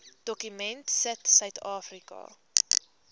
dokument sit suidafrika